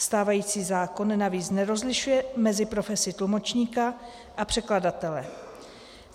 Stávající zákon navíc nerozlišuje mezi profesí tlumočníka a překladatele.